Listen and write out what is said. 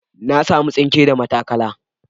Na samu tsinke da matakala.